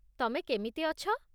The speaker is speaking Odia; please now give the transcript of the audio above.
ତମେ କେମିତି ଅଛ?